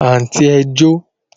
Àǹtí ẹ jó